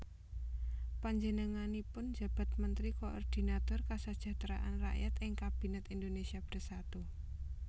Panjenenganipun njabat Mentri Koordinator Kasajahtran Rakyat ing Kabinèt Indonésia Bersatu